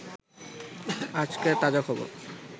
আজকের তাজা খবর